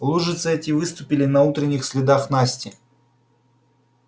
лужицы эти выступили на утренних следах насти